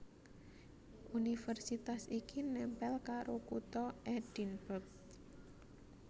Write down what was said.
Universitas iki nèmpèl karo Kutha Edinburgh